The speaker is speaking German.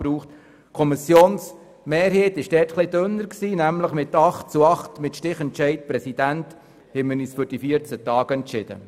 Der Kommissionsentscheid fiel dort mit 8 gegen 8 Stimmen und mit Stichentscheid des Präsidenten zugunsten der 14 Tage aus.